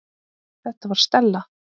Þetta var Stella.